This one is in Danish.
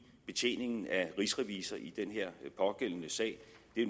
betjeningen af rigsrevisor i den pågældende sag